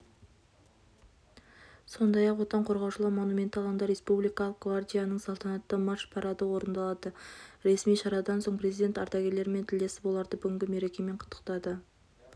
сондай-ақ отан қорғаушылар монументі алаңында республикалық гвардияның салтанатты марш-парады орындалды ресми шарадан соң президент ардагерлермен тілдесіп оларды бүгінгі мерекемен құттықтады